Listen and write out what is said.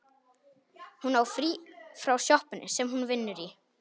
Hún á frí frá sjoppunni sem hún vinnur í.